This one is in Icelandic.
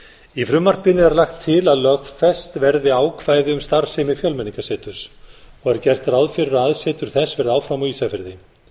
í frumvarpinu er lagt til að lögfest verði ákvæði um starfsemi fjölmenningarseturs var gert ráð fyrir að aðsetur þess verði áfram á ísafirði